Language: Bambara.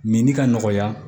Menin ka nɔgɔya